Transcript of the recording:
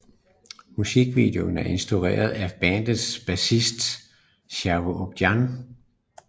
Musikvideoen er instrueret af bandets bassist Shavo Odadjian